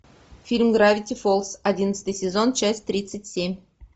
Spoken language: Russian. фильм гравити фолз одиннадцатый сезон часть тридцать семь